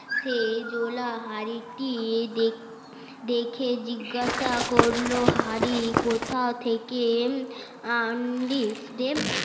সে জোলার হাড়িটি দেখে জিজ্ঞেশা করলো হাড়ি কোথা থেকে আনলি